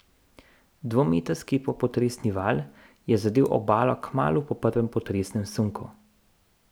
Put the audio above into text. Dvometrski popotresni val je zadel obalo kmalu po prvem potresnem sunku.